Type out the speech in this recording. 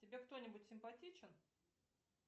тебе кто нибудь симпатичен